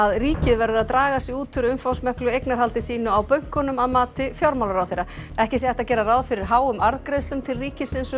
ríkið verður að draga sig út úr umfangsmiklu eignarhaldi sínu á bönkunum að mati fjármálaráðherra ekki sé hægt að gera ráð fyrir háum arðgreiðslum til ríkisins um